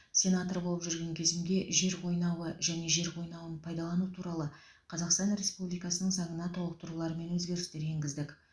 сенатор болып жүрген кезімде жер қойнауы және жер қойнауын пайдалану туралы қазақстан республикасының заңына толықтырулар мен өзгерістер енгіздік